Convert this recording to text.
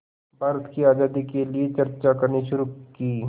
भारत की आज़ादी के लिए चर्चा करनी शुरू की